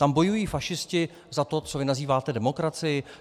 Tam bojují fašisti za to, co vy nazýváte demokracií?